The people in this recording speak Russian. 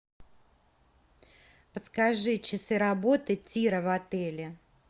подскажи часы работы тира в отеле